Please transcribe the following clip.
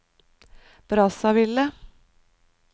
Brazzaville